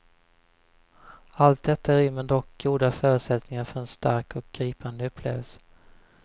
Allt detta rymmer dock goda förutsättningar för en stark och gripande upplevelse.